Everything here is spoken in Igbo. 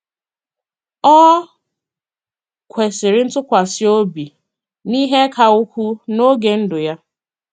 O kwesịrị ntụkwasị obi n’ihe ka ukwuu n’oge ndụ ya.